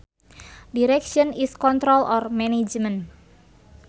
Direction is control or management